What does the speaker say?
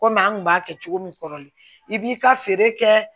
Komi an kun b'a kɛ cogo min kɔrɔlen i b'i ka feere kɛ